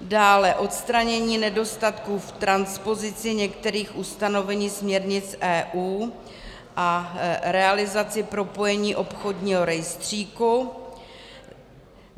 Dále odstranění nedostatků v transpozici některých ustanovení směrnic EU a realizaci propojení obchodního rejstříku.